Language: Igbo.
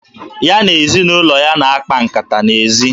Ya na ezinụlọ ya na-akpa nkata n'ezi